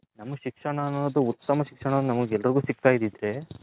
ನಮ್ಮಗೆ ಶಿಕ್ಷಣ ಅನ್ನೋದು ಉತ್ತಮ ಶಿಕ್ಷಣ ನಮ್ಮಗೆ ಎಲ್ಲರ್ಗೂ ಸಿಗ್ತೈದಿದ್ರೆ